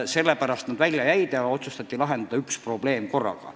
Sellepärast nad välja jäid ja otsustati lahendada üks probleem korraga.